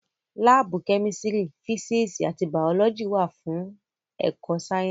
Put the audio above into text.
Láàbù Kẹ́mísírì, físíìsì àti Bàọ́lọ́jì wà fún ẹ̀kọ sáyẹ́ǹsì